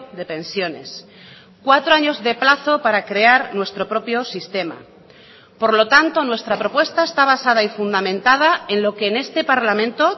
de pensiones cuatro años de plazo para crear nuestro propio sistema por lo tanto nuestra propuesta está basada y fundamentada en lo que en este parlamento